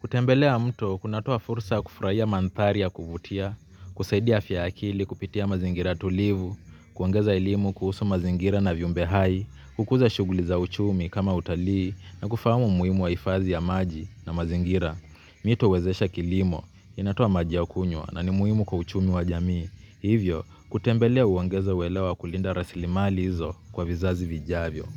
Kutembelea mto, kunatoa fursa ya kufurahia mandhari ya kuvutia, kusaidia afya ya akili, kupitia mazingira tulivu, kuongeza elimu kuhusu mazingira na vyumbe hai, kukuza shughuli za uchumi kama utalii, na kufahamu umuhimu wa hfadhi ya maji na mazingira. Mito wezesha kilimo, inatoa maji ya kunywa, na ni muhimu kwa uchumi wa jamii. Hivyo, kutembelea huongeza uelewa wa kulinda rasilimali hizo kwa vizazi vijavyo.